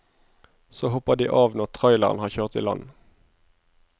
Så hopper de av når traileren har kjørt i land.